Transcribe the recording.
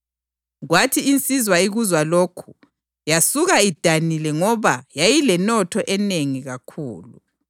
UJesu waphendula wathi, “Nxa ufuna ukuthi uphelele, thengisa yonke inotho yakho uphe abampofu, lapho-ke inotho yakho izakuba sezulwini. Ubusubuya ungilandele.”